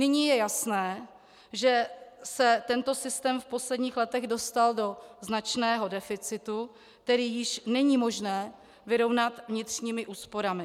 Nyní je jasné, že se tento systém v posledních letech dostal do značného deficitu, který již není možné vyrovnat vnitřními úsporami.